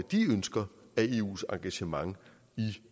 vi ønsker af eus engagement i